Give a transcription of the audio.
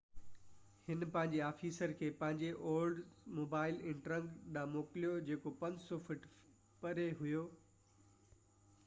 هن پنهنجي آفيسر کي پنهنجي اولڊس موبائل انٽرگ ڏانهن موڪليو جيڪو 500 فٽ پري هئي